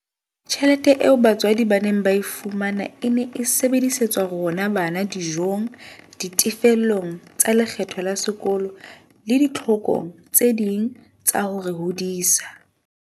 Tjhelete eo batswadi ba neng ba e fumana e ne e sebedisetswa rona bana dijong, ditefellong tsa lekgetho la sekolo le ditlhokong tse ding tsa ho re hodisa.